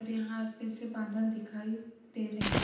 और यहाँ फिर से बांधल दिखाई दे रहे हैं।